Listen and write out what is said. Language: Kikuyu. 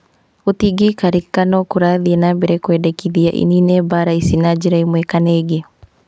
Gũtingĩikarĩka no kũrathiĩ na mbere kwendekithia ĩnine mbara ici na njĩra ĩmwe kana ĩngĩ